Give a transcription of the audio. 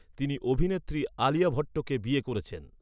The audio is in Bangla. তিনি অভিনেত্রী আলিয়া ভট্টকে বিয়ে করেছেন।